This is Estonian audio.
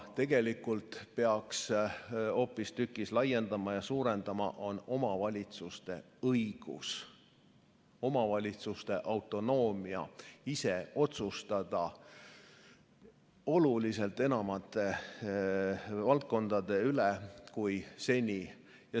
Tegelikult peaks hoopistükkis laiendama ja suurendama omavalitsuste õigusi, omavalitsuste autonoomiat ise otsustada enamate valdkondade üle kui seni.